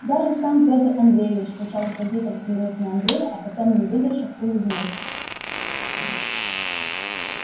даже сам пётр андреевич сначала сердито взглянув на андрея а потом не выдержав улыбнулся